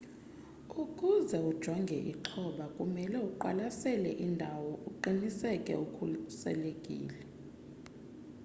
ukuze ujonge ixhoba kumele uqwasele indawo uqiniseke ukhuselekile